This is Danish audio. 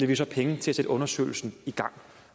vi så penge til at sætte undersøgelsen i gang